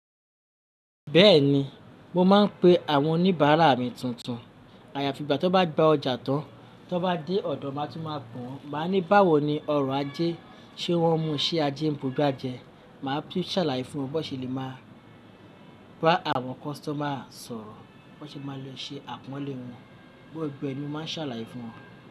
Bẹ́ẹ̀ni, mo máa ń pe àwọn oníbàárà mi tuntun. Àyàfi ìgbà tó bá gba ọjà tán, tó bá dé ọ̀dọ̀ máa tún máa pè wọ́n. Màá ní báwo ni ọrọ̀ ajé, ṣé wọ́n mú ṣé ajé ń búgbàjẹ́. Màá tún ṣàlàyé fún wọn bó ṣe lè máa bá àwọn customer sọ̀rọ̀, bó ṣe máa le ṣe àpọ́nlé wọn, gbogbo ẹni máa ń ṣàlàyé fún wọn.